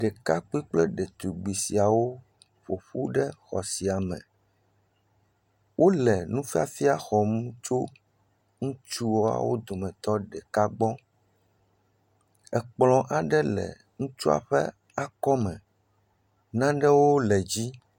Ɖekakpui kple ɖetugbui siawo ƒoƒu ɖe xɔ siame wole nufiafia xɔm tso ŋutsuawo dometɔ ɖeka gbɔ ekplɔ aɖe le ŋutsua ƒe akɔme nanewo le edzi